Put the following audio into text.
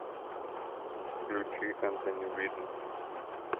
включи энтони виден